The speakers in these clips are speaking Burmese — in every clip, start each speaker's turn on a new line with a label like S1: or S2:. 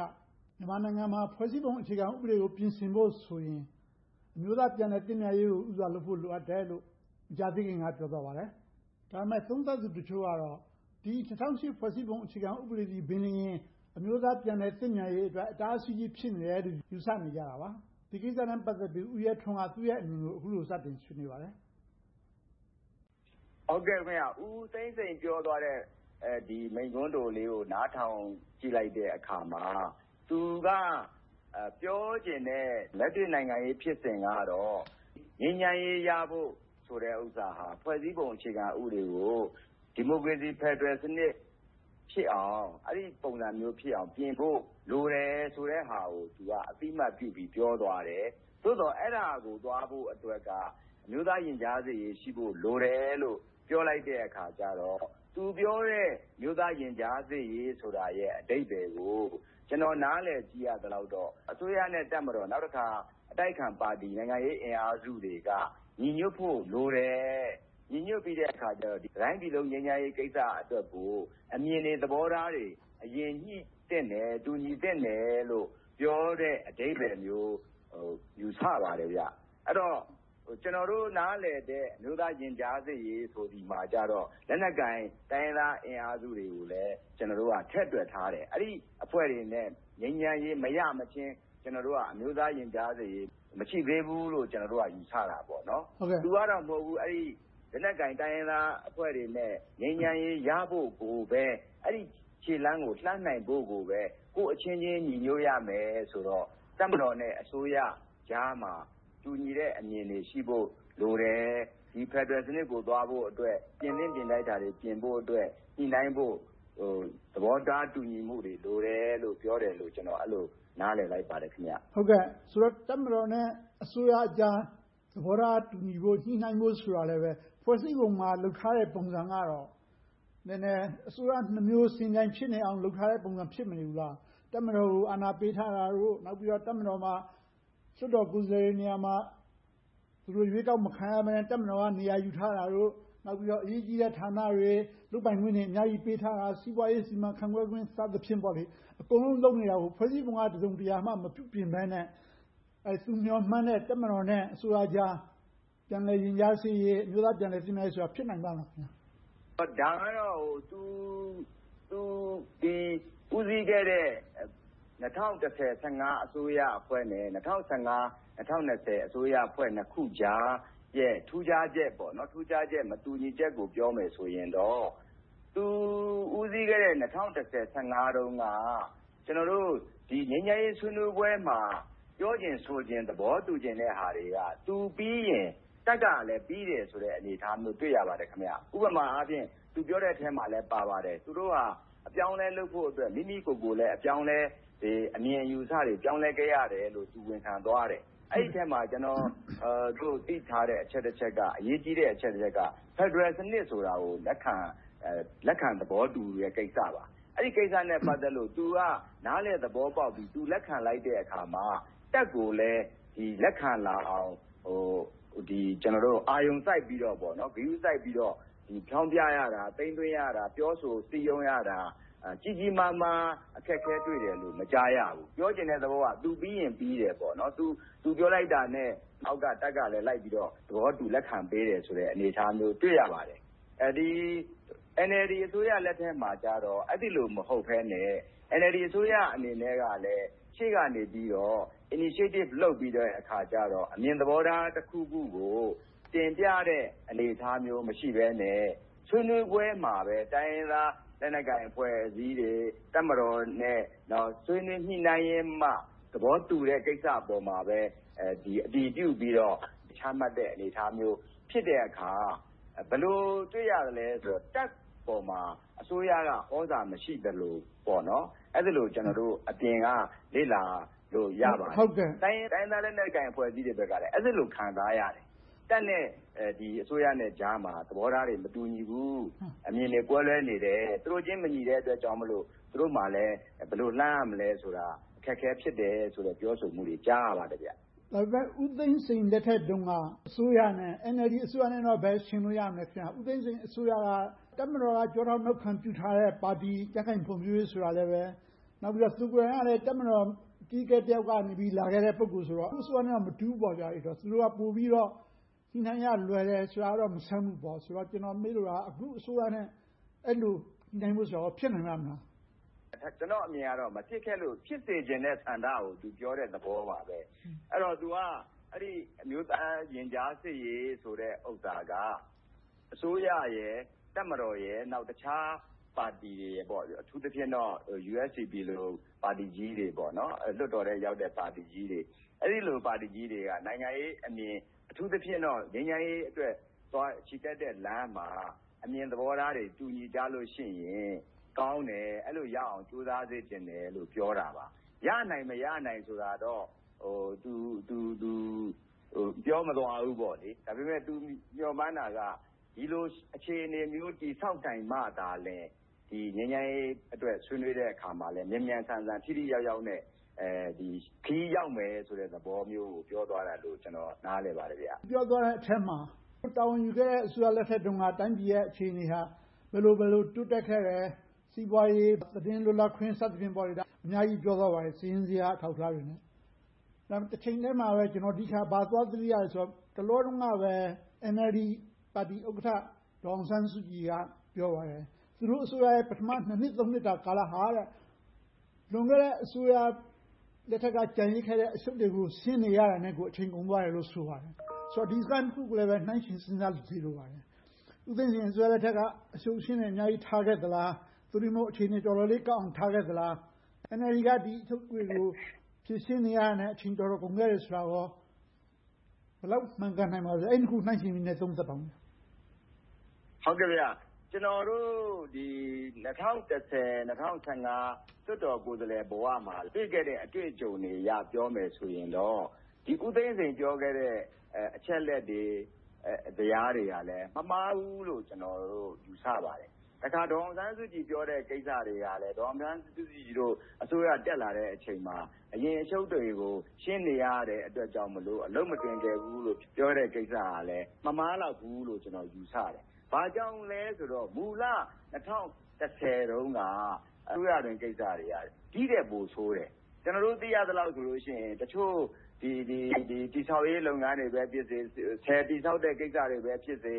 S1: က မြန်မာနိုင်ငံမှာ ဖွဲ့စည်းပုံဥပဒေကို ပြင်ဆင်ဖို့ဆိုရင် အမျိုးသားပြန်လည်သင့်မြတ်ရေးကို ဦးစွာလုပ်ဖို့ လိုအပ်တယ်တယ်လို့ မကြာသေးခင်က ပြောဆိုသွားပါတယ်။ ဒါပေမဲ့ သုံးသပ်သူတချို့ကတော့ ၂၀၀၈ ဖွဲ့စည်းပုံအခြေခံဥပဒေသည်လျှင်ပင် အမျိုးသားပြန်လည်သင့်မြတ်ရေးအတွက် အတားအဆီးကြီး ဖြစ်နေတယ်လို့ ယူဆနေကြပါတယ်။ ဒီကိစ္စနဲ့ ပတ်သက်ပြီး ဦးရဲထွန်းက သူ့အမြင်ကို အခုလိုစတင်ဆွေးနွေးပါတယ်
S2: ။ ဖြေ ။ ။ ဦးသိန်းစိန်ပြောသွားတဲ့ မိန့်ခွန်းတိုလေးကို နားထောင်ကြည့်လိုက်တဲ့အခါမှာ သူက ပြောချင်တဲ့ လက်တွေ့နိုင်ငံရေးဖြစ်စဉ်ကတော့ ငြိမ်းချမ်းရေးရဖို့ဆိုတဲ့ဟာက ဖွဲ့စည်းပုံအခြေခံဥပဒေကို ဒီမိုကရေစီဖယ်ဒရယ်စနစ်ဖြစ်အောင် အဲဒီပုံစံမျိုးဖြစ်အောင်ပြင်ဖို့ လိုတယ်ဆိုတဲ့ဟာကို အသိအမှတ်ပြုပြီး ပြောသွားတယ်။ သို့သော် အဲဒါကို သွားဖို့အတွက်က အမျိုးသားရင်ကြားစေ့ရေး ရှိဖို့လိုတယ်လို့ ပြောလိုက်တဲ့အခါကြတော့ သူပြောတဲ့ အမျိုးသားရင်ကြားစေ့ရေးဆိုတဲ့ အဓိပ္ပါယ်ကို ကျနော် နားလည်သိရသလောက်တော့ အစိုးရနဲ့ တပ်မတော်။ နောက်တခါ အတိုက်အခံ နိုင်ငံရေးအင်အားစုတွေက ညီညွှတ်ဖို့လိုတယ်။ ညီညွှတ်ပြီးတဲ့အခါ တတိုင်းပြည်လုံး ငြိမ်းချမ်းရေးကိစ္စအတွက်ကို အမြင်တွေ၊ သဘောထားတွေ အရင်ညှိသင့်တယ်။ တူညီသင့်တယ်လို့ ပြောတဲ့အဓိပ္ပါယ်မျိုး ယူဆပါတယ်။ အဲဒီတော့ ကျနော်တို့ နားလည်တဲ့ အမျိုးသားရင်ကြားစေ့ရေးဆိုသည်မှာ တိုင်းရင်းသား လက်နက်ကိုင်အင်အားစုတွေကိုလည်း ထည့်တွက်ထားတယ်။ အဲဒီအဖွဲ့တွေနဲ့ ငြိမ်းချမ်းရေးမရမချင်း၊ ကျနော်တို့က အမျိုးသားရင်ကြားစေ့ရေး မရှိသေးဘူးလို့ ကျနော်တို့က ယူဆကြတယ်။ သူကတော့ အဲဒီလိုမဟုတ်ဘူး။ လက်နက်ကိုင် တိုင်းရင်းသားအင်အားစုတွေနဲ့ ငြိမ်းချမ်းရေးရဖို့ကိုပဲ၊ အဲဒီခြေလှမ်းကို လှမ်းနိုင်ဖို့ကိုပဲ ကိုယ့်အချင်းချင်း ညီညွှတ်ရမယ်ဆိုတော့ တပ်မတော်နဲ့ အစိုးရကြားမှာ တူညီတဲ့အမြင်တွေ ရှိဖို့လိုတယ်။ ဖယ်ဒရယ်စနစ်ကို သွားဖို့အတွက် ပြင်သင့်ပြင်ထိုက်တာတွေ ပြင်ဖို့အတွက် ညှိနှိုင်းဖို့ သဘောထားတူညီမှုတွေ လိုတယ်လို့ ပြောသွားတယ်လို့ ကျနော် အဲဒီလိုနားလည်လိုက်ပါတယ်။ မေး ။
S1: ။ ဆိုတော့ တပ်မတော်နဲ့ အစိုးရကြား သဘောထားတူညီဖို့၊ ညှိနှိုင်းဖို့ဆိုတာကလဲ ဖွဲ့စည်းပုံမှာ လုပ်ထားတဲ့ ပုံစံကတော့ နည်းနည်းအစိုးရနှစ်မျိုး ယှဉ်ပြိုင်ဖြစ်နေတဲ့ ပုံစံ ဖြစ်မနေဘူးလား။ တပ်မတော်ကို အာဏာပေးထားတာတို့၊ နောက်ပြီးတော့ တပ်မတော်မှာ လွှတ်တော်ကိုယ်စားလှယ်တွေ နေရာမှာ ရွေးကောက်မခံရဘဲနဲ့ တပ်မတော်က နေရာယူထားတာတို့၊ နောက်ပြီးတော့ အရေးကြီးတဲ့ဌာနတွေ၊ လုပ်ပိုင်ခွင့်တွေ အများကြီးပေးထားတာ၊ စီးပွားရေး စီမံခန့်ခွဲခွင့် စသည်ဖြင့် အကုန်လုံးလုပ်နေတာကို ဖွဲ့စည်းပုံက တစုံတရာမှ မပြုပြင်ဘဲနဲ့ သူမျှော်မှန်းတဲ့ တပ်မတော်နဲ့ အစိုးရကြား ပြန်လည်ရင်ကြားစေ့ရေး၊ အမျိုးသားပြန်လည်သင့်မြတ်ရေးတို့ဆိုတာ ဖြစ်နိုင်ပါ့မလား
S2: ။ ဖြေ ။ ။ ဒါကတော့ သူ ဦးစီးခဲ့တဲ့ ၂၀၁၀-၁၅ အစိုးရအဖွဲ့နဲ့ ၂၀၁၅-၂၀၂၀ အစိုးရအဖွဲ့ နှစ်ခုကြားရဲ့ ထူးခြားချက်၊ မတူညီချက်ကို ပြောမယ်ဆိုရင်တော့ သူ ဦးစီးခဲ့တဲ့ ၂၀၁၀-၁၅ တုန်းက ငြိမ်းချမ်းရေးဆွေးနွေးပွဲမှာ ပြောချင်ဆိုချင်၊ သဘောတူညီချင်တဲ့ဟာတွေက သူပြီးရင် တပ်ကလဲ ပြီးတဲ့ဆိုတဲ့ အနေအထားမျိုး တွေ့ရပါတယ်။ ဥပမာအားဖြင့် သူပြောတဲ့အထဲမှာလဲ ပါပါတယ်။ သူတို့ဟာ အပြောင်းအလဲလုပ်ဖို့အတွက် မိမိကိုယ်ကိုယ်လဲ အမြင်အယူအဆတွေ ပြောင်းလဲခဲ့ရတယ်လို့ သူ ဝန်ခံသွားတယ်။ အဲဒီအထဲမှာ ကျနော်တို့ သိထားတဲ့ အချက်တစ်ချက်ကတော့ အရေးကြီးတဲ့ အချက်တစ်ချက်ကတော့ ဖယ်ဒရယ်စနစ်ကို လက်ခံသဘောတူတဲ့ ကိစ္စပါ။ အဲဒီကိစ္စနဲ့ ပတ်သက်လို့ သူကနားလည်သဘောပေါက်ပြီး၊ လက်ခံလိုက်တဲ့အခါမှာ တပ်ကိုလည်း လက်ခံလာအောင်၊ အာရုံစိုက်ပြီးတော့ ဂရုစိုက်ပြီးတော့ ဖြောင်းဖြရတာ၊ သိမ်းသွင်းရတာ၊ ပြောဆိုရတာ၊ စည်းရုံးရတာ ကြီးကြီးမားမား အခက်အခဲတွေ့တယ်လို့ မကြားရဘူး။ ပြောချင်တဲ့သဘောက သူပြီးရင်ပြီတယ်။ သူပြောလိုက်တာနဲ့ အောက်က တပ်ကလည်း လိုက်ပြီးတော့ သဘောတူ လက်ခံပေးတယ်ဆိုတဲ့ အနေအထားမျိုးကို တွေ့ရပါတယ်။ NLD အစိုးရလက်ထက်မှာကြတော့ အဲဒီလိုမျိုး မဟုတ်ဘဲနဲ့ NLD အစိုးရအနေနဲ့ကလဲ ရှေ့ကနေပြီးတော့ Initiative လုပ်ပြီးတဲ့အခါကြတော့ အမြင်သဘောထားတစ်ခုခုကို တင်ပြတဲ့ အနေအထားမျိုး မရှိဘဲနဲ့၊ ဆွေးနွေးပွဲမှာပဲ တိုင်းရင်းသားလက်နက်ကိုင် အဖွဲ့အစည်းတွေ၊ တပ်မတော်နဲ့ ဆွေးနွေးညှိနှိုင်းရင်းမှ သဘောတူတဲ့ကိစ္စပေါ်မှာပဲ အတည်ပြုပြီးတော့ ချမှတ်တဲ့အနေအထားမျိုး ဖြစ်တဲ့အခါ၊ ဘယ်လိုတွေ့ရသလဲဆိုတော့ တပ်ပေါ်မှာ အစိုးရက သြဇာမရှိသလိုမျိုး အဲဒီလိုမျိုး ကျနောတို့ အပြင်က လေ့လာလို့ ရပါတယ်။ တိုင်းရင်းသားလက်နက်ကိုင် အဖွဲ့အစည်းတွေဘက်လည်း အဲဒီလို ခံစားရတယ်။ တပ်နဲ့ အစိုးရကြားမှာ သဘောထားတွေ မတူညီဘူး။ အမြင်တွေ ကွဲလွဲနေတယ်။ သူတို့ချင်း မညီတဲ့အတွက်ကြောင့်မို့ သူတို့မှာလည်း ဘယ်လိုလှမ်းရမလဲဆိုတာ အခက်အခဲ ဖြစ်တယ်ဆိုတဲ့ ပြောဆိုမှုတွေကို ကြားရပါတယ်။ မေး ။ ။
S1: ဒါပေမဲ့ ဦးသိန်းစိန်လက်ထက်တုန်းက အစိုးရနဲ့ NLD အစိုးရနဲ့တော့ ဘယ်ယှဉ်လို့ ရမလဲ။ ဦးသိန်းစိန်အစိုးရက တပ်မတော်က ကျောထောက်နောက်ခံပြုထားတဲ့ ပါတီ၊ ကြံ့ခိုင်ဖွံ့ဖြိုးရေးပါတီ ဆိုတာကလဲ၊ သူကိုယ်တိုင်ကလဲ တပ်မတော်အကြီးအကဲ တစ်ယောက်ကနေ လာခဲ့တဲ့ ပုဂ္ဂိုလ်ဆိုတော့ သူ့အစိုးရနဲ့ မတူဘူးပေါ့။ သူတို့က ပိုပြီးတော့ ညှိနှိုင်းရလွယ်တာ မဆန်းဘူးပေါ့။ ကျနော်မေးလိုတာက အခုအစိုးရနဲ့ အဲဒီလို ညှိနှိုင်းဖို့ဆိုတာ ဖြစ်နိုင်ပါ့မလား။
S2: ဖြေ ။ ။ ကျနော်အမြင်ကတော့ မဖြစ်ခဲ့လို့ ဖြစ်စေချင်တဲ့ ဆန္ဒကို သူပြောတဲ့သဘောပါပဲ။ အဲဒီတော့ သူက အမျိုးသားရင်ကြားစေ့ရေးဆိုတဲ့ဟာက အစိုးရ၊ တပ်မတော်၊ တခြားပါတီတွေ၊ အထူးသဖြင့်တော့ USDP လို ပါတီကြီးတွေ၊ လွှတ်တော်ထဲရောက်တဲ့ ပါတီကြီးတွေ။ အဲဒီလို ပါတီကြီးတွေက နိုင်ငံရေးအမြင်၊ အထူးသဖြင့်တော့ ငြိမ်းချမ်းရေးအတွက် ချီတက်တဲ့လမ်းမှာ အမြင်သဘောထားတွေ၊ မတူညီကြလို့ရှိရင် ကောင်းတယ်။ အဲဒီလိုရအောင် ကြိုးစားစေချင်တယ်လို့ ပြောတာပါ။ ရနိုင်၊ မရနိုင်ဆိုတာတော့ သူ ပြောမသွားဘူး။ ဒါပေမဲ့ သူမျှော်မှန်းတာက ဒီလိုအခြေအနေမျိုး တည်ဆောက်နိုင်မှသာလျှင် ငြိမ်းချမ်းရေးအတွက် ဆွေးနွေးတဲ့အခါမှာ မြန်မြန်ဆန်ဆန် ထိထိရောက်ရောက်နဲ့ ခရီးရောက်မယ်ဆိုတဲ့ သဘောမျိုးကို ပြောသွားတယ်လို့ ကျနော် နားလည်ပါတယ်။ မေး
S1: ။ ။ ပြောသွားတဲ့အထဲမှာ သူတာဝန်ယူခဲ့တဲ့ အစိုးရလက်ထက်တုန်းက တိုင်းပြည်ရဲ့ အခြေအနေဟာ ဘယ်လိုဘယ်လို တိုးတက်ခဲ့တယ်။ စီးပွားရေး၊ သတင်းလွတ်လပ်ခွင့် စသည်ဖြင့် အများကြီးပြောသွားပါတယ်။ စာရင်းဇယား အထောက်အထားတွေနဲ့။ တချိန်တည်းမှာပဲ ကျနော် ဘာကိုသွားသတိရသလဲဆိုတော့ တလောတုန်းကပဲ NLD ပါတီဥက္ကဋ္ဌ ဒေါ်အောင်ဆန်းစုကြည်က ပြောသွားတယ်၊ သူတို့အစိုးရရဲ့ ပထမ နှစ်၊ နှစ်တာ ကာလဟာ လွန်ခဲ့တဲ့ အစိုးရလက်ထက်က ကျန်ရစ်ခဲ့တဲ့ အရှုပ်တွေကို ရှင်းနေရတာနဲ့ကို အချိန်ကုန်သွားတယ်လို့ ဆိုပါတယ်။ ဆိုတော့ ဒီစကားနှစ်ခုကိုလည်း နှိုင်းယှဉ်စဉ်းစားကြည့်စေလိုပါတယ်။ ဦးသိန်းစိန်အစိုးရလက်ထက်က အရှုပ်အရှင်းတွေ အများကြီးထားခဲ့သလား။ သို့တည်းမဟုတ် အခြေအနေတွေ တော်တော်လေးကောင်းအောင် ထားခဲ့သလား။ NLD က ဒီအရှုပ်တွေကို ဖြေရှင်းနေရတာနဲ့ အချိန်တော်တော်လေး ကုန်ခဲ့တယ်ဆိုတာ ဘယ်လောက်မှန်ကန်နိုင်ပါသလဲ။ အဲဒီနှစ်ခုကို နှိုင်းယှဉ်ပြီးတော့ သုံးသပ်ပါအုံး။
S2: ဖြေ ။ ။ ကျနော်တို့ ၂၀၁၀-၂၀၁၅ လွှတ်တော်ကိုယ်စားလှယ်ဘဝမှာ တွေ့ခဲ့တဲ့ အတွေ့အကြုံတွေအရ ပြောမယ်ဆိုရင်တော့ ဦးသိန်းစိန်ပြောခဲ့တဲ့ အချက်အလက်တွေ၊ ဇယားတွေကလည်း မမှားဘူးလို့ ကျနော်တို့ ယူဆပါတယ်။ တစ်ခါ ဒေါ်အောင်ဆန်းစုကြည် ပြောတဲ့ကိစ္စတွေကလဲ ဒေါ်အောင်ဆန်းစုကြည်တို့ အစိုးရတက်လာတဲ့အချိန်မှာ အရင်အရှုပ်တွေကို ရှင်းနေရတယ်အတွက်ကြောင့်မို့ အလုပ်မတွင်ကျယ်ဘူးလို့ ပြောတဲ့ဟာကလဲ မမှားလောက်ဘူးလို့ ကျနော် ယူဆပါတယ်။ ဘာကြောင့်လဲဆိုတော့ မူလ ၂၀၁၀ တုန်းက အစိုးရတွင်းကိစ္စတွေက ဒီထက်ပိုဆိုးတယ်။ ကျနော်တို့ သိရသလောက်တော့ဆိုရင် တချို့တည်ဆောက်ရေး လုပ်ငန်းတွေပဲဖြစ်စေ၊ ဆည်တည်ဆောက်တဲ့ လုပ်ငန်းကိစ္စတွေပဲဖြစ်စေ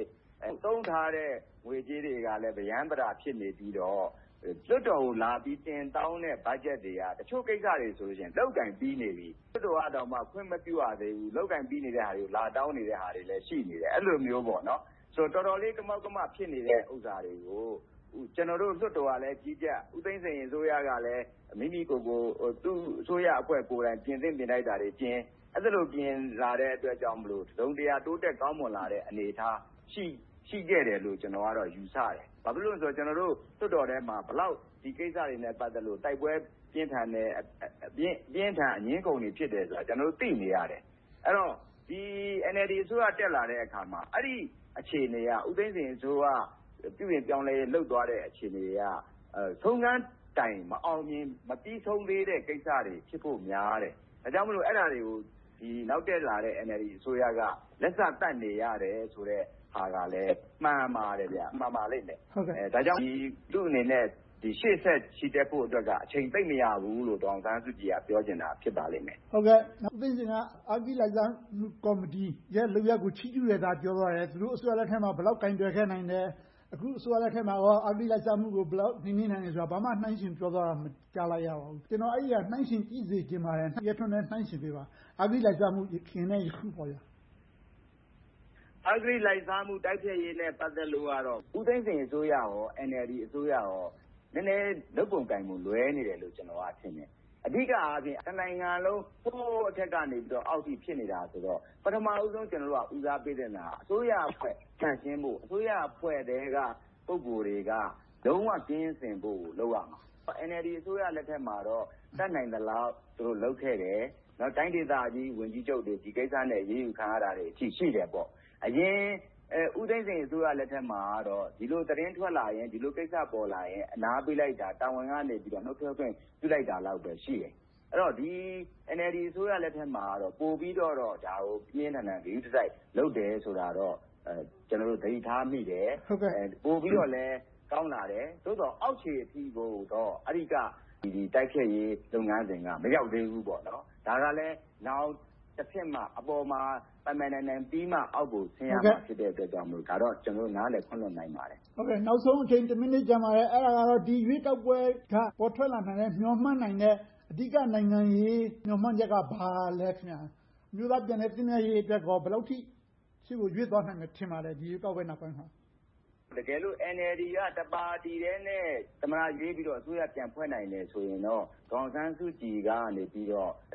S2: ၊ သုံးထားတဲ့ ငွေကြေးတွေကလဲ ပရမ်းပတာ ဖြစ်နေပြီးတော့ လွှွတ်တော်ကိုလာပြီး တင်တောင်းတဲ့ ဘတ်ဂျက်တွေက တချို့ကိစ္စတွေဆိုရင် လုပ်ကိုင်ပြီးနေပြီ၊ လွှတ်တော်ကတောင် ခွင့်မပြုရသေးဘူး လုပ်ကိုင်ပြီးနေတာတွေကို လာတောင်းနေတာတွေလည်း ရှိနေတယ်။ အဲဒီလိုမျိုး။ တော်တော်လေး ကမောက်ကမ ဖြစ်နေတဲ့ ကိစ္စတွေကို ကျနော်တို့ လွှတ်တော်ကလည်း ကြီးကြပ်၊ ဦးသိန်းစိန်အစိုးရကလည်း မိမိကိုယ်ကိုယ် အစိုးရအဖွဲ့ကိုယ်တိုင် ပြင်သင့်ပြင်ထိုက်တာတွေ ပြင်လာတဲ့အတွက်ကြောင့်မို့ တစုံတရာ တိုးတက်ကောင်းမွန်လာတဲ့ အနေအထား၊ ရှိခဲ့တယ်လို့ ကျနော်ကတော့ ယူဆတယ်။ ဘာဖြစ်လို့လဲဆိုတော့ ကျနော်တို့ လွှတ်တော်ထဲမှာ ဒီကိစ္စတွေနဲ့ ပတ်သက်လို့ တိုက်ပွဲတွေ ပြင်းထန်တယ်။ အပြင်းအထန် အငြင်းအခုန်တွေ ဖြစ်တယ်ဆိုတာ ကျနော်တို့ သိနေရတယ်။ အဲဒီတော့ NLD အစိုးရ တက်လာတဲ့အခါမှာ အဲဒီအခြေအနေက ဦးသိန်းစိန်အစိုးရ ပြုပြင်ပြောင်းလဲရေး လုပ်သွားတဲ့ အခြေအနေက ဆုံးခန်းတိုင်း မအောင်မြင်၊ မပြီဆုံးသေးတဲ့ကိစ္စတွေ ဖြစ်ဖို့များတယ်။ ဒါကြောင့်မို့ အဲဒါတွေကို နောက်တက်လာတဲ့ NLD အစိုးရက လက်စသတ်နေရတယ်ဆိုတဲ့ဟာကလဲ မှန်ပါတယ်။ မှန်ပါလိမ့်မယ်။ ဒါကြောင့် သူ့အနေနဲ့ ရှေ့ဆက်ချီတက်ဖို့က အချိန်သိပ်မရဘူးလို့ ဒေါ်အောင်ဆန်းစုကြည်က ပြောချင်တာ ဖြစ်ပါလိမ့်မယ်
S1: ။ မေး ။ ။ အဂတိလိုက်စားမှုလုပ်ရပ်ကို ချီးကျူးတာ ပြောသွားတယ်။ သူတို့အစိုးရလက်ထက်မှာ ဘယ်လောက်ကိုင်တွယ်နိုင်ခဲ့တယ်။ အခုအစိုးရလက်ထက်မှာ အဂတိလိုက်စားမှု ဘယ်လောက်နှိမ်နှင်းနိုင်တယ်ဆိုတာကို ဘာမှနှိုင်းယှဉ်ပြောသွားတာကို မကြားလိုက်ရဘူး။ ကျနော်က အဲဒါကို နှိုင်းယှဉ်ကြည့်စေချင်ပါတယ်။ ဦးရဲထွန်းလည်း နှိုင်းယှဉ်ပေးပါ။ အဂတိလိုက်စားမှု ယခင်နဲ့ အခုပေါ့။
S2: ဖြေ ။ ။ အဂတိလိုက်စားမှုနဲ့ ပတ်သက်ပြီးတော့ ဦးသိန်းစိန်အစိုးရနဲ့ NLD အစိုးရတို့ နည်းနည်းလုပ်ပုံကိုင်ပုံ လွဲမှားနေတယ်လို့ ကျနော်က ထင်တယ်။ အဓိကအားဖြင့် တနိုင်ငံလုံး အထက်ကနေ အောက်အထိ ဖြစ်နေတာဆိုတော့ ပထမဦးဆုံး ကျနော်တို့ ဦးစားပေးသင့်တာက အစိုးရအဖွဲ့ သန့်ရှင်းဖို့၊ အစိုးရအဖွဲ့အတွင်းက ပုဂ္ဂိုလ်တွေက လုံးဝအဂတိကင်းစင်ဖို့ကို လုပ်ရမှာ။ NLD အစိုးရလက်ထက်မှာတော့ တတ်နိုင်သလောက် သူတို့လုပ်ခဲ့တယ်။ တိုင်းဒေသကြီး ဝန်ကြီးချုပ်တွေ ဒီကိစ္စနဲ့ အရေးယူခံရတာတွေ ရှိတယ်။ အရင် ဦးသိန်းစိန်အစိုးရလက်ထက်မှာတော့ ဒီလိုသတင်းထွက်လာရင်၊ ဒီလိုကိစ္စပေါ်လာရင် အနားပေးလိုက်တာ၊ တာဝန်ကနေ နှုတ်ထွက်ခွင့် ပြုလိုက်တာလောက်ပဲ ရှိခဲ့တယ်။ NLD အစိုးရလက်ထက်မှာတော့ ပိုပြီးတော့ ဒါကို ပြင်းပြင်းထန်ထန် ဂရုတစိုက် လုပ်တယ်ဆိုတာတော့ ကျနော်တို့ သတိထားမိတယ်။ ပိုပြီးတော့လည်း ကောင်းလာတယ်။ သို့သော် အောက်ခြေအထိကိုတော့ အဂတိတိုက်ဖျက်ရေး လုပ်ငန်းစဉ်က မရောက်သေးဘူးပေါ့။ ဒါကလဲ နောင်တဆင့်မှ အပေါ်မှာ ပိုင်ပိုင်နိုင်နိုင်ပြီးမှ အောက်ကို ဆင်းရမှာ ဖြစ်တဲ့အတွက်ကြောင့်မို့ ဒါကိုတော့ ကျနော်တို့ နားလည်ခွင့်လွှတ်နိုင်ပါတယ်။
S1: မေး ။ ။ နောက်ဆုံးအချိန် တစ်မိနစ်ကျန်ပါတယ်။ အဲဒါကတော့ ဒီရွေးကောက်ပွဲက ပေါ်ထွက်လာမယ့် မျှော်မှန်းနိုင်မယ့် အဓိက နိုင်ငံရေး မျှော်မှန်းချက်က ဘာလဲ။ အမျိုးသားပြန်လည်သင့်မြတ်ရေးအတွက် ဘယ်လောက်အထိ ရှေ့ကိုရွေ့သွားနိုင်မယ် ထင်ပါသလဲ။ ဖြေ ။ ။
S2: တကယ်လို့ NLD က တစ်ပါတီထဲနဲ့ သမ္မတရွေးပြီးတော့ အစိုးရပြန်လည်ဖွဲ့နိုင်တယ် ဆိုရင်တော့ ဒေါ်အောင်ဆန်းစုကြည်ကနေ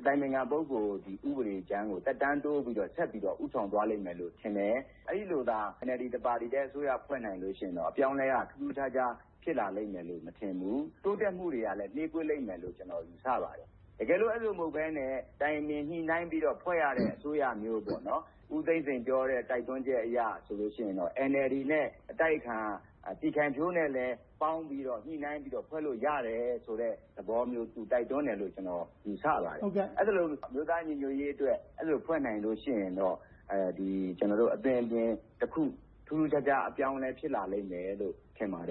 S2: အတိုင်ပင်ခံ ပုဂ္ဂိုလ် ဥပဒေကြမ်းကို သက်တမ်းတိုးပြီးတော့၊ ဆက်ပြီးတော့ ဦးဆောင်သွားလိမ့်မယ်လို့ ထင်တယ်။ အဲဒီလို NLD ပါတီတစ်ခုတည်း အစိုးရ ဖွဲ့နိုင်မယ်ဆိုရင်တော့ အပြောင်းအလဲက ထူးထူးခြားခြား ဖြစ်လာလိမ့်မယ်လို့ မထင်ဘူး။ တိုးတက်မှုတွေကလဲ နှေးကွေးလိမ့်မယ်လို့ ကျနော် ယူဆပါတယ်။ တကယ်လို့ အဲဒီလို မဟုတ်ဘဲနဲ့ တိုင်ပင်ညှိနှိုင်းပြီးတော့ ဖွဲ့ရတဲ့ အစိုးရမျိုး၊ ဦးသိန်းစိန်ပြောတဲ့ တိုက်တွန်းချက်အရဆိုရင်တော့ NLD နဲ့ အတိုက်အခံ ပြည်ခိုင်ဖြိုးတို့ ပေါင်းပြီးတော့ ညှိနှိုင်းပြီးတော့ ဖွဲ့လို့ရတယ်ဆိုတဲ့ သဘောမျိုး သူတိုက်တွန်းတယ်လို့ ကျနော် ယူဆပါတယ်။ အဲဒီလို အမျိုးသားညီညွှတ်ရေးအတွက် ဖွဲ့နိုင်တယ်ဆိုရင်တော့ အသွင်အပြင်တစ်ခု ထူးထူးခြားခြား အပြောင်းအလဲတစ်ခု ဖြစ်လာလိမ့်မယ်လို့ ထင်ပါတ